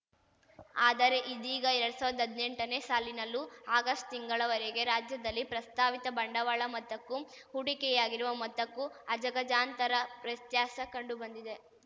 ಆದರೆ ಇದೀಗ ಎರಡ್ ಸಾವಿರ್ದಾ ಹದ್ನೆಂಟನೇ ಸಾಲಿನಲ್ಲೂ ಆಗಸ್ಟ್ ತಿಂಗಳ ವರೆಗೆ ರಾಜ್ಯದಲ್ಲಿ ಪ್ರಸ್ತಾವಿತ ಬಂಡವಾಳ ಮೊತ್ತಕ್ಕೂ ಹೂಡಿಕೆಯಾಗಿರುವ ಮೊತ್ತಕ್ಕೂ ಅಜಗಜಾಂತರ ವ್ಯತ್ಯಾಸ ಕಂಡುಬಂದಿದೆ